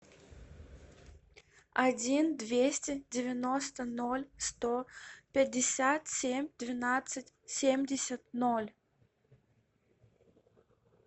один двести девяносто ноль сто пятьдесят семь двенадцать семьдесят ноль